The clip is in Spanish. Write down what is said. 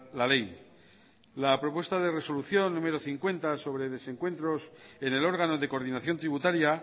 la ley la propuesta de resolución número cincuenta sobre desencuentros en el órgano de coordinación tributaria